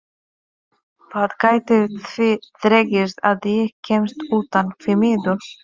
Það gæti því dregist að ég kæmist utan, því miður.